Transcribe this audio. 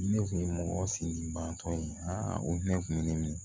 Ne kun ye mɔgɔ sinji banbatɔ ye aa o ne kun bɛ ne minɛ